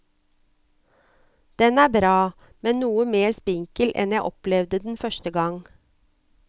Den er bra, men noe mer spinkel enn jeg opplevde den første gang.